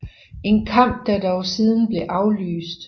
En kamp der dog siden blev aflyst